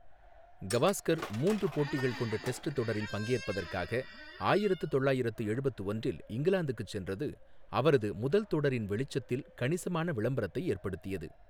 கவாஸ்கர் மூன்று போட்டிகள் கொண்ட டெஸ்ட் தொடரில் பங்கேற்பதற்காக ஆயிரத்து தொள்ளாயிரத்து எழுபத்து ஒன்றில் இங்கிலாந்துக்கு சென்றது அவரது முதல் தொடரின் வெளிச்சத்தில் கணிசமான விளம்பரத்தை ஏற்படுத்தியது.